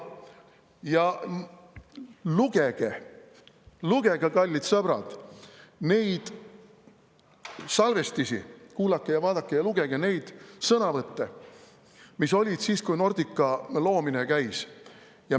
Ja, kallid sõbrad, neid salvestisi, kuulake ja vaadake ja lugege neid sõnavõtte, mis olid siis, kui Nordica loomine käis.